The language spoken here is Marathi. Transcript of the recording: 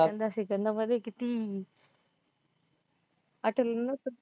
सेकंदा सेकंदामध्ये किती आठवलेले नसतात